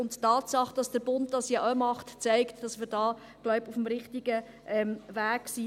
Die Tatsache, dass der Bund dies auch tut, zeigt, dass wir hier – wie ich glaube – auf dem richtigen Weg sind.